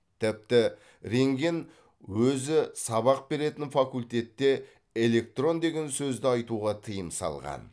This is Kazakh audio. тіпті рентген өзі сабақ беретін факультетте электрон деген сөзді айтуға тыйым салған